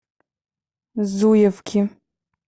зуевки